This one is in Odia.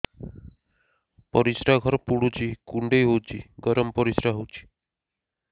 ପରିସ୍ରା ଘର ପୁଡୁଚି କୁଣ୍ଡେଇ ହଉଚି ଗରମ ପରିସ୍ରା ହଉଚି